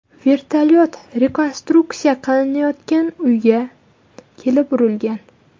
Vertolyot rekonstruksiya qilinayotgan uyga kelib urilgan.